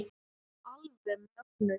Alveg mögnuð.